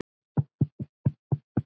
Það litar hann öðru fremur.